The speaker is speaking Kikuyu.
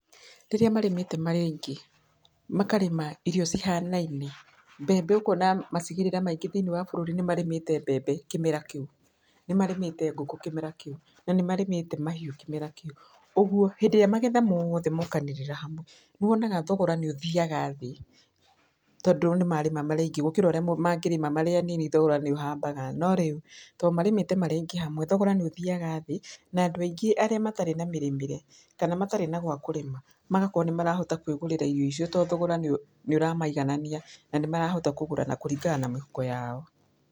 Rĩrĩa marĩmĩte marĩ aingĩ, makarĩma irio cihanaine mbembe ũkona macigĩrĩra maingĩ thĩiniĩ bũrũri nĩmarĩmĩte mbembe kĩmera kĩũ, nĩmarĩmĩte ngũkũ kĩmera kĩũ, na nĩmarĩmĩte mahiũ kĩmera kĩũ, ũguo hĩndĩ ĩrĩa magetha mothe mokanĩrĩra hamwe, nĩwonaga thogora nĩũthiyaga thĩ, tondũ nĩmarĩma marĩ aingĩ gũkĩra arĩa mangĩrĩma marĩ anini thogora nĩũhambaga, no rĩũ tondũ marĩmĩte marĩ aingĩ hamwe, thogoro nĩũthiaga thĩ na andũ aingĩ arĩa matarĩ na mĩrĩmĩre kana arĩa matarĩ na gwakũrĩma magakorwo nĩmarohota kwĩgũrĩra irio icio, tondũ thogora nĩũramaiganania, na nĩmahota kũgũra kũringana na mĩhuko yao.